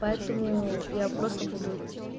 поэтому я просто буду